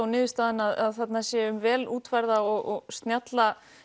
niðurstaðan að þarna sé um vel útfærða og snjalla